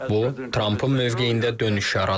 Bu, Trampın mövqeyində dönüş yaradıb.